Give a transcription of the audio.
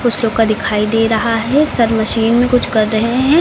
कुछ लोग का दिखाई दे रहा है सर मशीन में कुछ कर रहे हैं।